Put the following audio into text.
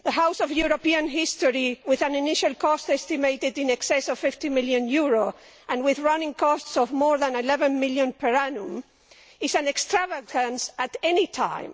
The House of European History, with an initial cost estimated in excess of EUR 50 million and with running costs of more than EUR 11 million per annum, is an extravagance at any time.